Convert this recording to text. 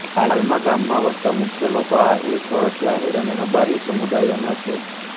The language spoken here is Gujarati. હાલમાં ગામમાં વસતા મુખ્ય લોકો આહિર સોરઠિયા આહિર અને રબારી સમુદાયોના છે